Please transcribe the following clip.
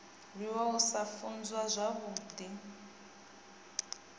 rwiwa u sa funzwa zwavhudi